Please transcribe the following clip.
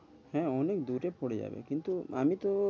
হ্যাঁ অনেক দূরে পরে যাবে কিন্তু আমি তো